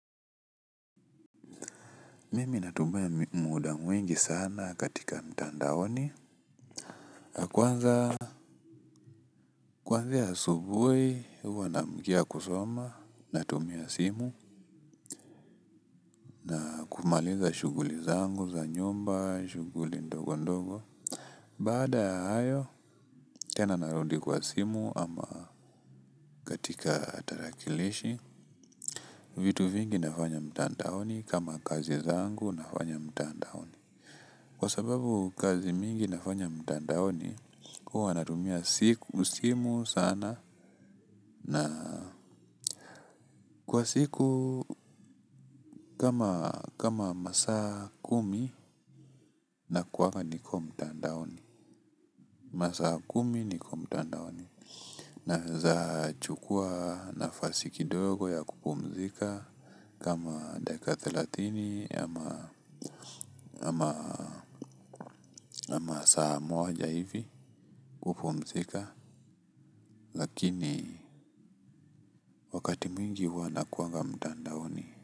Mimi natumia muda mwingi sana katika mtandaoni. Kwanza kwanzia asubuhi huwa naamkia kusoma natumia simu. Kumaliza shughuli zangu za nyumba shughuli ndogo ndogo. Baada ya hayo tena narudi kwa simu ama katika tarakilishi. Vitu vingi nafanya mtandaoni kama kazi zangu nafanya mtandaoni. Kwa sababu kazi mingi nafanya mtandaoni, huwa natumia simu sana na kwa siku kama masaa kumi nakuwanga niko mtandaoni. Masaa kumi niko mtandaoni. Nawezachukua nafasi kidogo ya kupumzika kama dakika thelathini ama saa moja hivi kupumzika lakini wakati mwingi huwa nakuwanga mtandaoni.